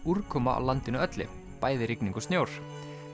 úrkoma á landinu öllu bæði rigning og snjór